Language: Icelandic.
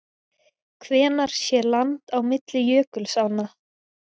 Hvenær sé land á milli jökulsánna?